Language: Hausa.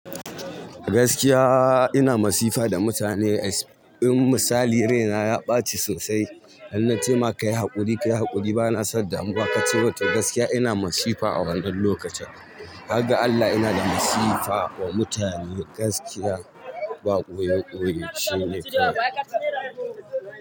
Gaskiya ina masifa da mutane. Misali raina ya ɓaci sosai. Har na ce maka kayi haƙuri, kayi haƙuri bana son damu ba ka ci roto. Gaskiya ina masifa a wannan lokacin. Harga Allah ina da masifa wa mutane gaskiya. Ba ɓoye ɓoye shine kawai.